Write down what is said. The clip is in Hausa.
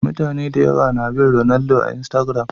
Mutane da yawa na bin Ronaldo a Instagiram